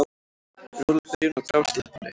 Róleg byrjun á grásleppunni